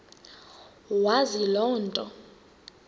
wazi loo nto